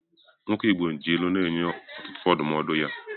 Nwoke igbo ji ilu na-enye ọtụtụ ndụmọdụ ya